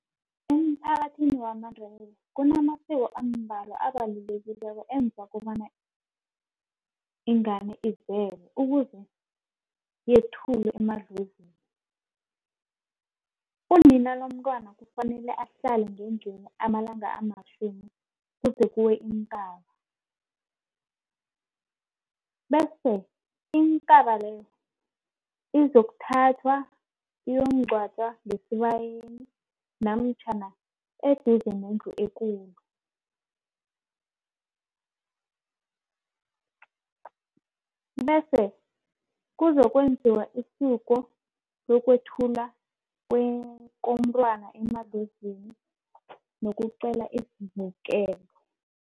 Emphakathini wamaNdebele kunamasiko ambalwa abalulekileko enza kobana . Ukuze yethulwe emadlozini, unina lomntwana kufanele ahlale ngendlini amalanga amatjhumi kuze kuwe ikaba. Bese ikaba leyo izokuthathwa iyokungcwatjwa ngesibayeni namtjhana eduze nendlu ekulu, bese kuzokwenziwa isiko lokwethula komntwana emadlozini nokuqela ukuvikeleka.